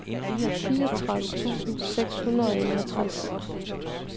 fireogtredive tusind seks hundrede og enogtres